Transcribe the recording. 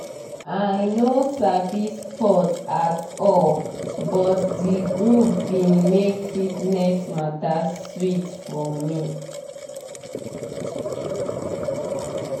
i no sabi sports at all but di group bin make fitness mata sweet for me